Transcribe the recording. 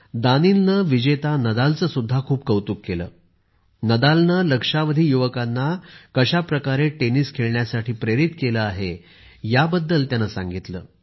दानीलनेविजेता नदालचे सुद्धा खूप कौतुक केले नदालने लक्षावधी युवकांना कशाप्रकारे टेनिस खेळण्यासाठी प्रेरित केले आहे त्याबद्दल त्याने सांगितले